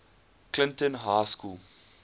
clinton high school